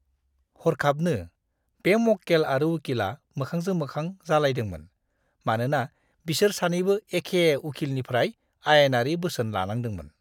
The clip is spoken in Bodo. हरखाबनो, बे मक्केल आरो उकिलआ मोखांजों-मोखां जालायदोंमोन, मानोना बिसोर सानैबो एखे उखिलनिफ्राय आयेनारि बोसोन लानांदोंमोन!